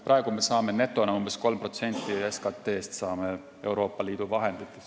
Praegu me saame netona umbes 3% SKT-st Euroopa Liidu vahenditest.